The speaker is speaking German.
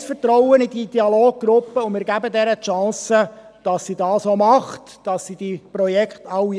Wir haben das Vertrauen in die Dialoggruppe, und wir geben ihr die Chance, dass sie dies auch macht, dass sie alle Projekte anschaut.